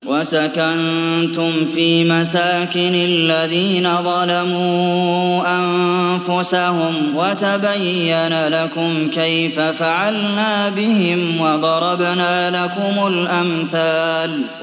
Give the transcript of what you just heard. وَسَكَنتُمْ فِي مَسَاكِنِ الَّذِينَ ظَلَمُوا أَنفُسَهُمْ وَتَبَيَّنَ لَكُمْ كَيْفَ فَعَلْنَا بِهِمْ وَضَرَبْنَا لَكُمُ الْأَمْثَالَ